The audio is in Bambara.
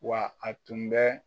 Wa a tun bɛ